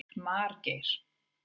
Margeir